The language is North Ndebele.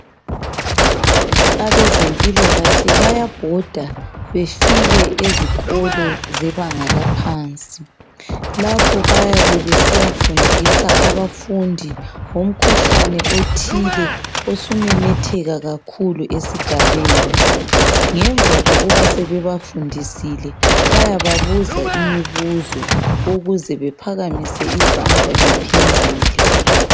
Abezempilakahle bayabhoda befike ezikolo zebanga laphansi. Lapho bayabe besiyafundisa abafundi ngomkhuhlane othile osumemetheka kakhulu esigabeni. Ngemva kokuba sebebafundisile bayababuza imibuzo ukuze baphakamise izandla baphendule.